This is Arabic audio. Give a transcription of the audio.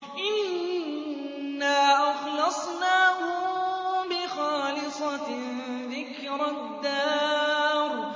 إِنَّا أَخْلَصْنَاهُم بِخَالِصَةٍ ذِكْرَى الدَّارِ